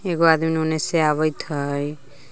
एगो आदमी ओने से आवेत हइ।